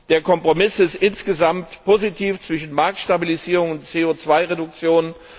Der Kompromiss ist insgesamt positiv zwischen Marktstabilisierung und CO2 Reduktion.